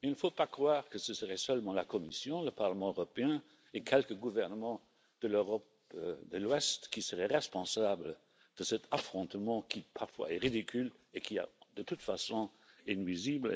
Il ne faut pas croire que ce serait seulement la Commission, le Parlement européen et quelques gouvernements de l'Europe de l'Ouest qui seraient responsables de cet affrontement qui, parfois, est ridicule et qui, de toute façon, est nuisible.